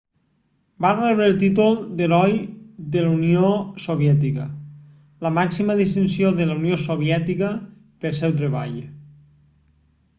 va rebre el títol d'"heroi de la unió soviètica la màxima distinció de la unió soviètica pel seu treball